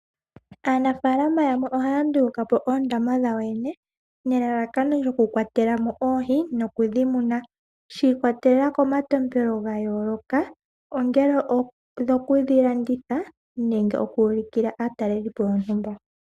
Aanafalama yamwe ohaa nduluka po oondama dhawo yoyene nelalakano lyokukwatela mo oohi noku dhi muna. Shi ikwatelela komatompelo ga yoloka ongele odhokulanditha nenge okuulukila aatalelipo yontumba.